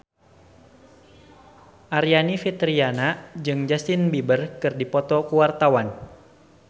Aryani Fitriana jeung Justin Beiber keur dipoto ku wartawan